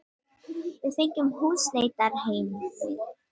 Við fengum húsleitarheimild.